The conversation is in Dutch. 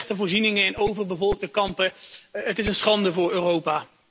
Slechte voorzieningen in overbevolkte kampen, het is een schande voor Europa.